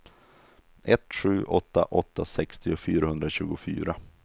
ett sju åtta åtta sextio fyrahundratjugofyra